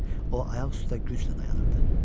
O ayaq üstə güclə dayanırdı.